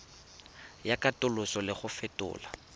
ya katoloso le go fetola